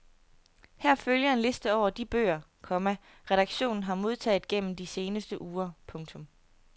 Her følger en liste over de bøger, komma redaktionen har modtaget gennem de seneste uger. punktum